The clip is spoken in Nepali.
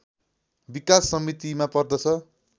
विकास समितिमा पर्दछ